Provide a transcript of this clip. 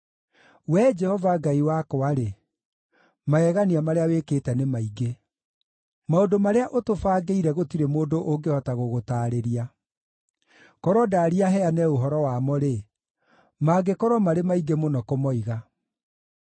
Wee Jehova Ngai wakwa-rĩ, magegania marĩa wĩkĩte nĩ maingĩ. Maũndũ marĩa ũtũbangĩire gũtirĩ mũndũ ũngĩhota gũgũtaarĩria; korwo ndaaria heane ũhoro wamo-rĩ, mangĩkorwo marĩ maingĩ mũno kũmoiga.